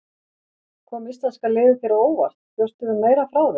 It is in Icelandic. Kom íslenska liðið þér á óvart, bjóstu við meira frá þeim?